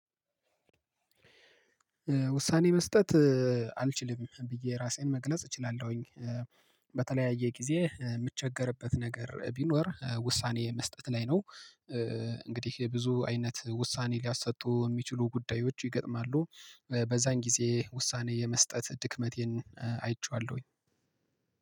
ውሳኔ መስጠት አልችልም ብዬ ራሴን መግለጽ እችላለሁኝ። በተለያየ ጊዜ የምቸገርበት ነገር ቢኖር ውሳኔ መስጠት ላይ ነው። እንግዲህ የብዙ አይነት ውሳኔ ሊያሰጡ የሚችሉ ጉዳዮች ይገጥማሉ በዛን ጊዜ ውሳኔ የመስጠት ድክመቴን አይቼዋለሁኝ።